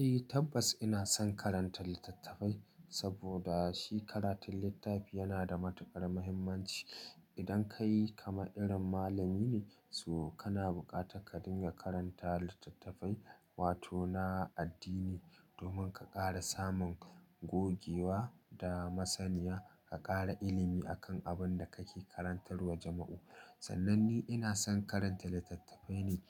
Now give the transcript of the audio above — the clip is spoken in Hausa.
Eh tabbas ina son karanta littattafai saboda shi karatun littafi yana da matukar muhimmanci. Idan kai kamar irin malami ne, so kana bukatar ka dinga karanta littattafai wato na addini domin ka ƙara samun gogewa da masaniya ka ƙara ilimi akan abin da kake karantarwa jama'u. Sannan ni ina son karanta littattafai ne